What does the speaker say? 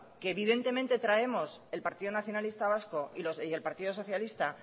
que evidentemente traemos el partido nacionalista vasco y el partido socialista